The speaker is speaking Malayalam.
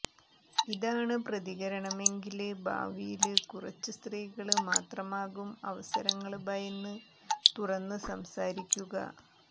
ഇതാണ് പ്രതികരണമെങ്കില് ഭാവിയില് കുറച്ച് സ്ത്രീകള് മാത്രമാകും അവസരങ്ങള് ഭയന്ന് തുറന്ന് സംസാരിക്കുക